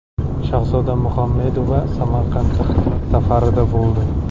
Shahzoda Muhammedova Samarqandda xizmat safarida bo‘ldi.